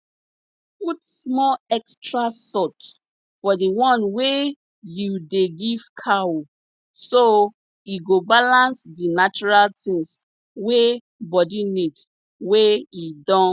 put small extra salt for the one wey you dey give cow so e go balance di natural tins wey body need wey e don